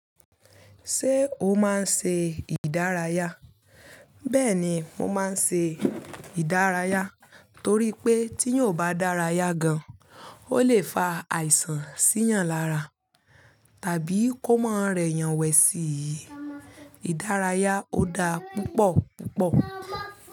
Ṣé o máa ń ṣe ìdárayá? Bẹ́ẹ̀ni, mo máa ń ṣe ìdárayá torí pé tí eyan o bá dárayá gan, ó lè fa àìsàn sí yan lára tàbí kó má rẹ yàn wẹ̀ sí i. Ìdárayá ó da púpọ̀ púpọ̀.